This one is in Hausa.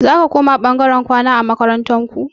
Zaka koma ɓangaren kwana a makarantar ku?